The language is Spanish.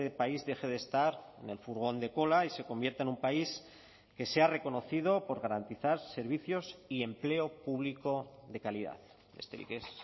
país deje de estar en el furgón de cola y se convierta en un país que sea reconocido por garantizar servicios y empleo público de calidad besterik ez